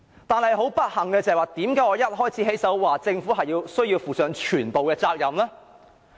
不幸的是，為何我要在發言的開首部分指出政府需要負上全部責任呢？